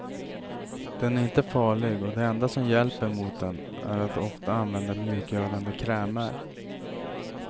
Den är inte farlig och det enda som hjälper mot den är att ofta använda mjukgörande krämer.